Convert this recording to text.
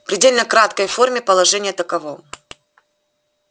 предельно краткой форме положение таково